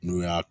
N'u y'a